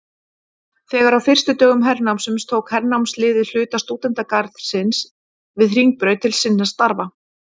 Þegar á fyrstu dögum hernámsins tók hernámsliðið hluta stúdentagarðsins við Hringbraut til sinna þarfa.